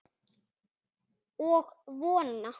Og vona.